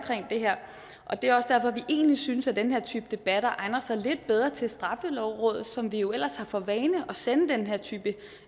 det her og det er også derfor vi egentlig synes at den her type debatter egner sig lidt bedre til straffelovrådet som vi jo ellers har for vane at sende den her type